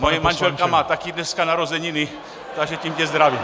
Moje manželka má taky dneska narozeniny, takže tím tě zdravím.